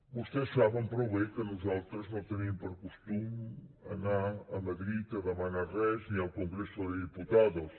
vostès saben prou bé que nosaltres no tenim per costum anar a madrid a demanar res ni al congreso de diputados